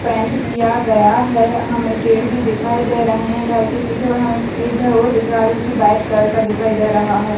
Paint किया गया है। हमें पेड़ भी दिखाई दे रहे है घर के पीछे और हमें एक घर और दिख रहा है जो कि वाइट कलर का दिखाई दे रहा है।